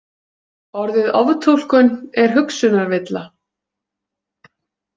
Orðið oftúlkun er hugsunarvilla.